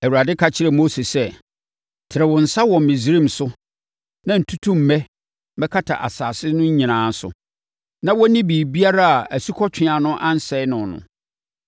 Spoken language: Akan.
Awurade ka kyerɛɛ Mose sɛ, “Tene wo nsa wɔ Misraim so na ntutummɛ mmɛkata asase no nyinaa so, na wɔnni biribiara a asukɔtweaa no ansɛe no no.”